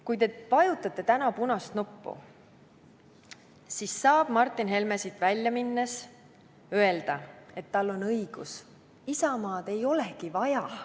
Kui te täna punast nuppu vajutate, siis saab Martin Helme siit välja minnes öelda, et tal on õigus, Isamaad ei olegi vaja.